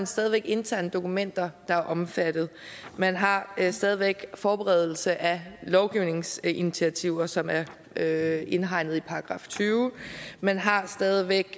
stadig væk interne dokumenter der er omfattet man har stadig væk forberedelse af lovgivningsinitiativer som er er indhegnet i § tyvende man har stadig væk